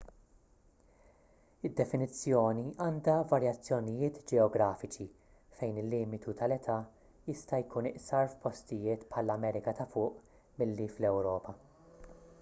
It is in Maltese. id-definizzjoni għandha varjazzjonijiet ġeografiċi fejn il-limitu tal-età jista' jkun iqsar f'postijiet bħall-amerika ta' fuq milli fl-ewropa